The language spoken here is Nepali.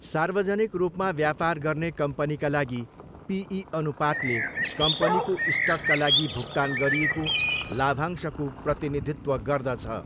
सार्वजनिक रूपमा व्यापार गर्ने कम्पनीका लागि, पिई अनुपातले कम्पनीको स्टकका लागि भुक्तान गरिएको लाभांशको प्रतिनिधित्व गर्दछ।